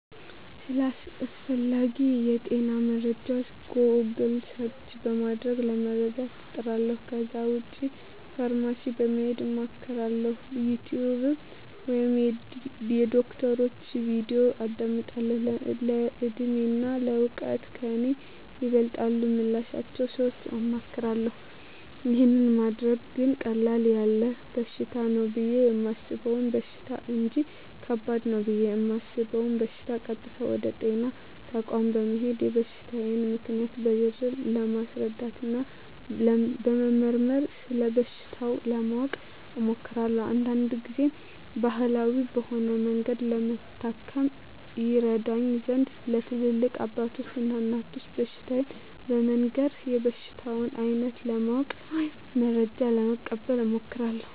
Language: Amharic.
ስለ አስፈላጌ የጤና መረጃወች "ጎግል" ሰርች" በማድረግ ለመረዳት እጥራለሁ ከዛ ውጭ ፋርማሲ በመሄድ አማክራለሁ፣ "ዩቲውብ" ላይ የዶክተሮችን "ቪዲዮ" አዳምጣለሁ፣ በእድሜና በእውቀት ከኔ ይበልጣሉ ምላቸውን ሰወች አማክራለሁ። ይህን ማደርገው ግን ቀለል ያለ በሽታ ነው ብየ የማሰበውን በሽታ እንጅ ከባድ ነው ብየ እማስበውን በሸታ ቀጥታ ወደ ጤና ተቋም በመሄድ የበሽታየን ምልክቶች በዝርዝር በማስረዳትና በመመርመር ስለበሽታው ለማወቅ እሞክራለሁ። አንዳንድ ግዜም ባህላዊ በሆነ መንገድ ለመታከም ይረዳኝ ዘንድ ለትላልቅ አባቶች እና እናቶች በሽታየን በመንገር የበሽታውን አይነት ለማወቅ ወይም መረጃ ለመቀበል እሞክራለሁ።